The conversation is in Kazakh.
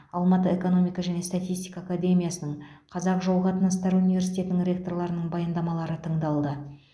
алматы экономика және статистика академиясының қазақ жол қатынастары университетінің ректорларының баяндамалары тыңдалды